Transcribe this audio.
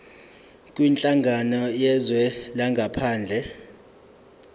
kwinhlangano yezwe langaphandle